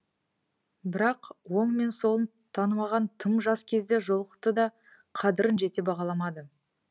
бірақ оң мен солын танымаған тым жас кезде жолықты да қадірін жете бағаламады